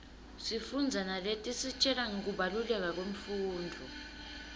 sifundza naletisitjela ngekubaluleka kwemfundvo